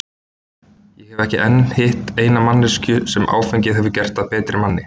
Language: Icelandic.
Ég hef ekki enn hitt eina einustu manneskju sem áfengið hefur gert að betri manni.